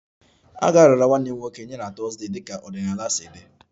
A ga-arara nwanne m nwoke nye na Thursday dịka ọdịnala si dị